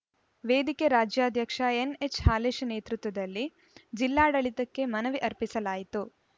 ವೇದಿಕೆ ರಾಜ್ಯಾಧ್ಯಕ್ಷ ಎನ್‌ಎಚ್‌ಹಾಲೇಶ ನೇತೃತ್ವದಲ್ಲಿ ಜಿಲ್ಲಾಡಳಿತಕ್ಕೆ ಮನವಿ ಅರ್ಪಿಸಲಾಯಿತು